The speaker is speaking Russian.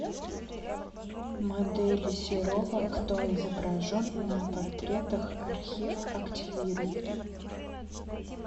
модели серова кто изображен на портретах архив активируй